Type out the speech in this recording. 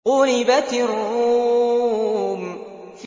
غُلِبَتِ الرُّومُ